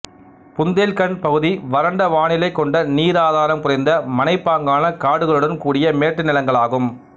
புந்தேல் கண்ட் பகுதி வறண்ட வானிலை கொண்ட நீர் ஆதாரம் குறைந்த மலைப்பாங்கான காடுகளுடன் கூடிய மேட்டு நிலங்களாகும்